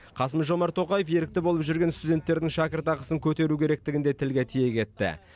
қасым жомарт тоқаев ерікті болып жүрген студенттердің шәкіртақысын көтеру керектігін де тілге тиек етті